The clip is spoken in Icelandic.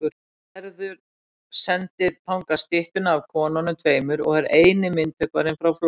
Gerður sendir þangað styttuna af konunum tveimur og er eini myndhöggvarinn frá Flórens.